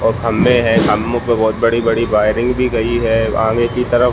और खम्बे है खम्बो पे बहुत बड़ी बड़ी वायरइंग भी की गयी है आगे की तरफ--